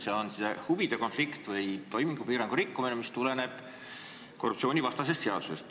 See on huvide konflikt või toimingupiirangu rikkumine, mida käsitleb korruptsioonivastane seadus.